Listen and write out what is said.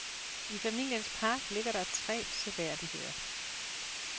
I familiens park ligger der tre seværdigheder.